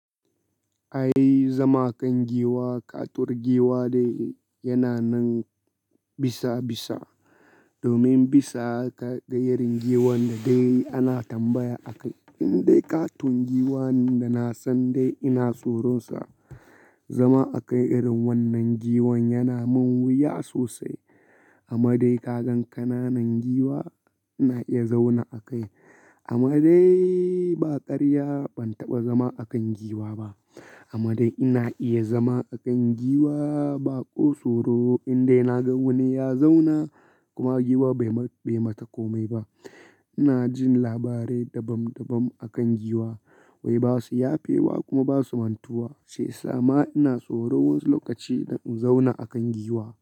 Ai zama kan giwa, katuwar giwa dai yana nan bisa bisa. Domin bisa kaga irin giwan da dai ana tambaya a kai. Indai katon giwan da na san dai ina tsoronsa. Zama a kan irin wannan giwan yana min wuya sosai. Amma dai kagan kananan giwa ina iya zaunawa a kai amma dai ba karya ban taɓa zama a kan giwa ba. Amma dai ina iya zama a kan giwa baƙo tsoro indai na ga wani ya zauna kuma giwa bai mata komai ba. Ina jin labarai dabam dabam a kan giwa wai basu yafe wa kuma basu mantuwa, shiya sama ina tsoro wani lokaci in zauna a kan giwa.